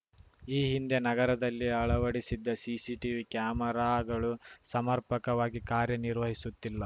ಈ ಹಿಂದೆ ನಗರದಲ್ಲಿ ಅಳವಡಿಸಿದ್ದ ಸಿಸಿಟಿವಿ ಕ್ಯಾಮೆರಾಗಳು ಸಮರ್ಪಕವಾಗಿ ಕಾರ್ಯ ನಿರ್ವಹಿಸುತ್ತಿಲ್ಲ